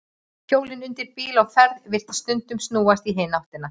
Hjólin undir bíl á ferð virðast stundum snúast í hina áttina.